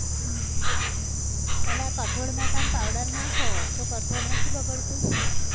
હમ પેલા આ કઠોળ માં તમ powder નાખો તો કઠોળ નથી બગડતું?